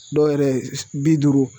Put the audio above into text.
Dɔw yɛrɛ bi duuru